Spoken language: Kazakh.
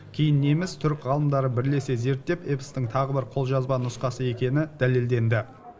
кейін неміс түрік ғалымдары бірлесе зерттеп эпостың тағы бір қолжазба нұсқасы екені дәлелденді